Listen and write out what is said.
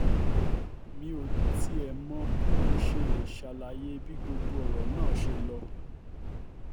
mi ò tiẹ̀ mọ bí mo ṣe lè ṣàlàyé bí gbogbo ọ̀rọ̀ náà ṣe lọ